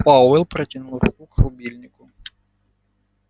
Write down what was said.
пауэлл протянул руку к рубильнику